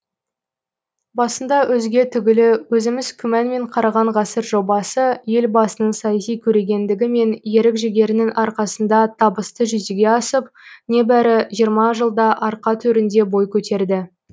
басында өзге түгілі өзіміз күмәнмен қараған ғасыр жобасы елбасының саяси көрегендігі мен ерік жігерінің арқасында табысты жүзеге асып небәрі жиырма жылда арқа төрінде бой көтерді